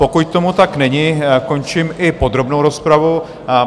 Pokud tomu tak není, končím i podrobnou rozpravu.